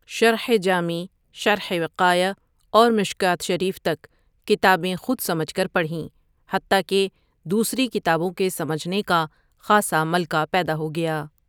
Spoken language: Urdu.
شرح جامی شرح و قایہ اور مشکوٰۃ شریف تک کتابیں خود سمجھ کر پڑھیں حتٰی کہ دوسری کتابوں کے سمجھنے کا خاصا ملکہ پیدا ہو گیا ۔